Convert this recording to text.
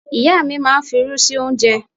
Ìyá mi máa ń fi'rú sí oúnjẹ.